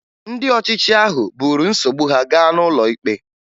Ndị ọchịchị ahụ buru nsogbu ha gaa n'ụlọ ikpe